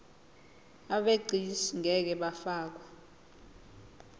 abegcis ngeke bafakwa